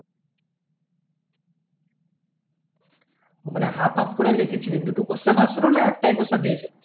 মানে half half করে লেখছিলি দুটো question আসছিলো না একটা question দিয়েছিলি